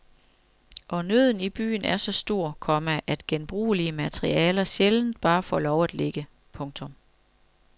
Og nøden i byen er så stor, komma at genbrugelige materialer sjældent bare får lov at ligge. punktum